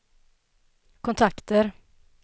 kontakter